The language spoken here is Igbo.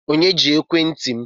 Onye ji ekwentị m?